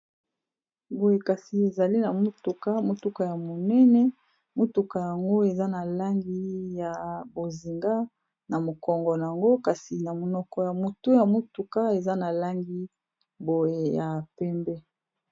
boye kasi ezali na motuka motuka ya monene motuka yango eza na langi ya bozinga na mokongo yango kasi na monoko ya motu ya motuka eza na langi boye ya pembe